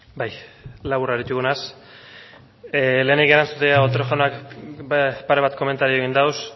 bai labur harituko naiz lehenik erantzutea otero jaunak pare bat komentario egin ditu